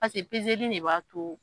Pase pezeli ne b'a to